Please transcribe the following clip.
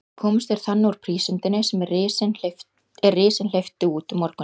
Komust þeir þannig úr prísundinni, er risinn hleypti út um morguninn.